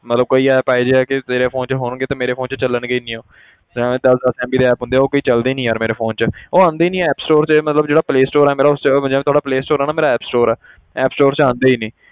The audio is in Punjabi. ਮਤਲਬ ਕਈ app ਇਹ ਜਿਹੇ ਆ ਕਿ ਤੇਰੇ phone 'ਚ ਹੋਣਗੇ ਤੇ ਮੇਰੇ phone 'ਚ ਚੱਲਣਗੇ ਹੀ ਨੀ ਉਹ ਜਿਵੇਂ ਦਸ ਦਸ MB ਦੇ app ਹੁੰਦੇ ਆ ਉਹ ਕਈ ਚੱਲਦੇ ਹੀ ਨੀ ਯਾਰ ਮੇਰੇ phone 'ਚ ਉਹ ਆਉਂਦੇ ਹੀ ਨੀ app store ਤੇ ਮਤਲਬ ਜਿਹੜਾ play store ਮੇਰਾ ਉਸ 'ਚ ਜਿਵੇਂ ਤੁਹਾਡਾ play store ਆ ਨਾ ਮੇਰਾ app store ਹੈ app store 'ਚ ਆਉਂਦੇ ਹੀ ਨੀ।